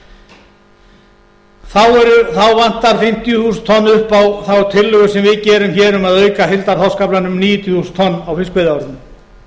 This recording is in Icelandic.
svokallaða stóra kerfi þá vantar fimmtíu þúsund tonn upp á þá tillögu sem við gerum um að auka heildarþorskaflann um níutíu þúsund tonn á fiskveiðiárinu